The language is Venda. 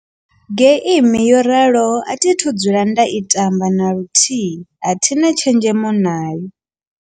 Geimi yo raloho a thithu dzula nda i tamba na luthihi a thina tshenzhemo nayo.